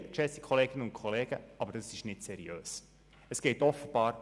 Dort war zu lesen: «Ein sozialer Kahlschlag» mit maximal 600 Franken beim Grundbedarf.